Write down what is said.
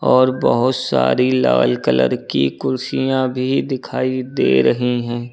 और बहुत सारी लाल कलर की कुर्सियां भी दिखाई दे रही हैं।